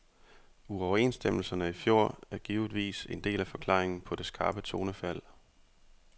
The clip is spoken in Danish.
Uoverenstemmelserne i fjor er givetvis en del af forklaringen på det skarpe tonefald.